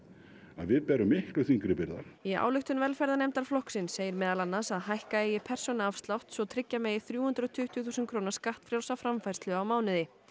að við berum miklu þyngri byrgðar í ályktun velferðarnefndar flokksins segir meðal annars að hækka eigi persónuafsláttinn svo tryggja megi þrjú hundruð og tuttugu þúsund króna skattfrjálsa framfærslu á mánuði